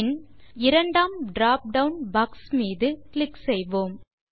பின் இரண்டாம் dropdown box மீது click செய்வோம்